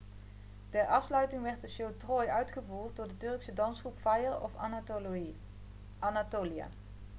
ter afsluiting werd de show troy' uitgevoerd door de turkse dansgroep fire of anatolia